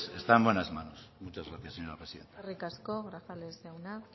está en buenas manos muchas gracias señora presidenta eskerrik asko grajales jauna